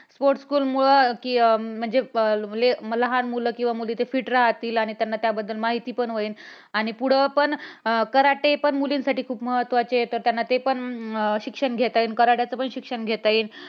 Sport school मूळ कि म्हणजे लहान मुलं किंवा मुली ते fit राहतील आणि त्यांना त्याबद्दल माहिती पण होईल. आणि पुढं पण karate पण मुलींसाठी खूप महत्वाचं आहे. तर त्यांना ते पण शिक्षण घेता येईल. karate चे पण शिक्षण घेता येईल.